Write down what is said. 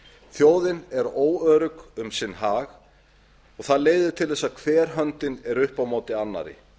þjóðin er óörugg um sinn hag og það leiðir til þess að hver höndin er upp á móti annarri